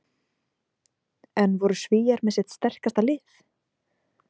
En voru Svíar með sitt sterkasta lið?